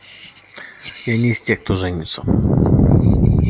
я не из тех кто женится